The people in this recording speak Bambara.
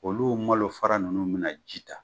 Olu malo fara ninnu mina ji ta